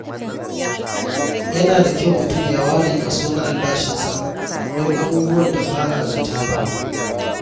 Yana da kyau mutum ya ware kaso na albashinsa don abubuwan da ba a zata ba.